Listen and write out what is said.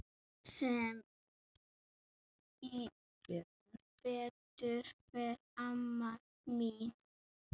Sem betur fer amma mín.